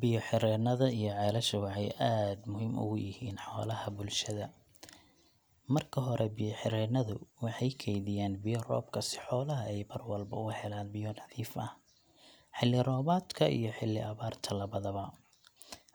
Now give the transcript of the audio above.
Biyo-xireennada iyo ceelasha waxay aad muhiim ugu yihiin xoolaha bulshada. Marka hore, biyo-xireennadu waxay kaydiyaan biyo roobka si xoolaha ay mar walba u helaan biyo nadiif ah, xilli roobaadka iyo xilli abaarta labadaba.